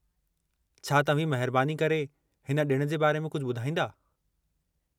छा तव्हीं महिरबानी करे हिन ॾिण जे बारे में कुझु बु॒धाईंदा?